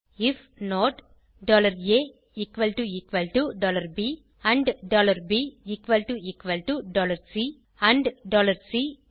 if not A and B and C